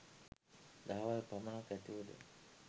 දහවල් පමණක් ඇතිවුවද